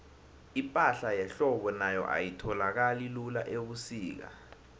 ipahla yehlobo nayo ayitholakali lula ubusika